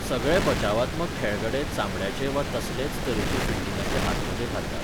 सगळे बचावात्मक खेळगडे चामड्याचे वा तसलेच तरेचे फिल्डिंगाचे हातमोजे घालतात.